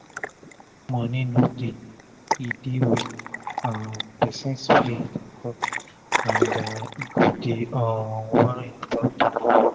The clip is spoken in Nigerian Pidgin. if moni no dey e dey weak um pesin spirit and e go dey um worry about tomoro